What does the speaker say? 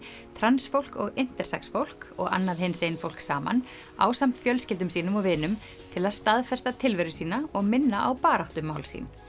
trans fólk intersex fólk og annað hinsegin fólk saman ásamt fjölskyldum sínum og vinum til að staðfesta tilveru sína og minna á baráttumál sín